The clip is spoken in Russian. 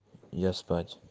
я спать